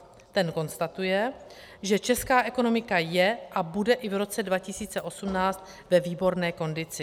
Ten konstatuje, že česká ekonomika je a bude i v roce 2018 ve výborné kondici.